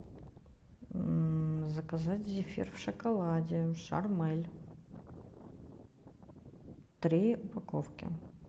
заказать зефир в шоколаде шармель три упаковки